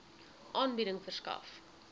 aanbieding verskaf